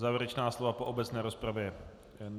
Závěrečná slova po obecné rozpravě?